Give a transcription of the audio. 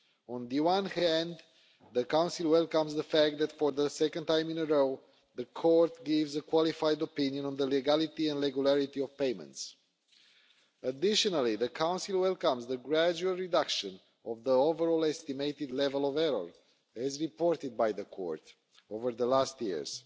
On the one hand, the Council welcomes the fact that, for the second time in a row, the Court gives a qualified opinion on the legality and regularity of payments. Additionally, the Council welcomes the gradual reduction of the overall estimated level of error, as reported by the Court over the last years.